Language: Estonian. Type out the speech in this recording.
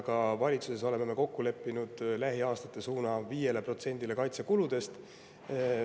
Ka valitsuses oleme me kokku leppinud, et lähiaastate suund on 5% kaitsekuludele.